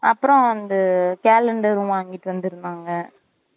அப்புறம் வந்து calendar வாங்கிட்டு வந்திருந்தாங்க